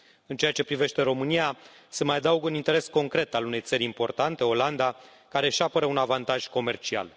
În ceea ce privește România, se mai adaugă un interes concret al unei țări importante, Olanda, care își apără un avantaj comercial.